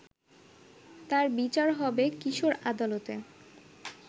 তার বিচার হবে কিশোর আদালতে